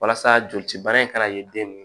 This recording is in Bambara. Walasa joli cibana in kana ye den